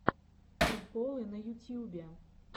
приколы на ютьюбе